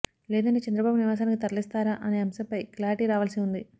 లేదంటే చంద్రబాబు నివాసానికి తరలిస్తారా అనే అంశంపై క్లారిటీ రావాల్సి ఉంది